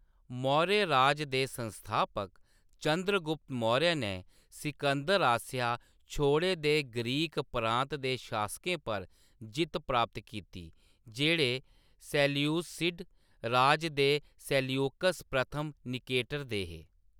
मौर्य राज दे संस्थापक चंद्रगुप्त मौर्य नै सिकंदर आसेआ छोड़े दे ग्रीक प्रांत दे शासकें पर जित्त प्राप्त कीती, जेह्‌‌ड़े सेल्यूसिड राज दे सेल्यूकस प्रथम निकेटर दे हे।